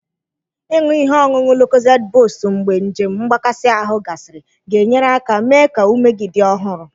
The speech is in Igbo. Ịṅụ ihe ọṅụṅụ Lukozedi buust mgbe njem mgbakasị ahụ gasịrị ga-enyere aka mee ka ume gị dị ọhụrụ.